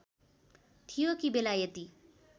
थियो कि बेलायती